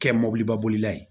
Kɛ mɔbilibabolila ye